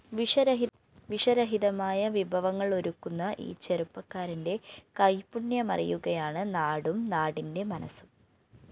വിഷരഹിതമായ വിഭവങ്ങളൊരുക്കുന്ന ഈ ചെറുപ്പക്കാരന്റെ കൈപ്പുണ്യമറിയുകയാണ് നാടും നാടിന്റെ മനസ്സും